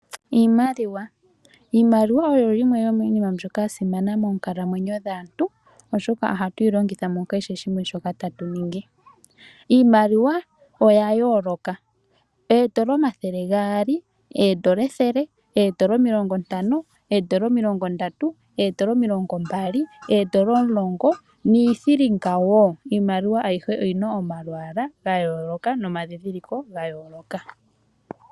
Iimaliwa. Iimaliwa oyo yimwe yomiinima mbyoka ya simana moonkalamwenyo dhaantu oshoka ohatuyi longitha mukehe shimwe shoka tatu ningi. Iimaliwa oya yooloka .Iimaliwa ayihe oyina omalwaala ga yooloka nomadhidhililo ga yooloka.